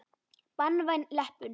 Banvæn leppun.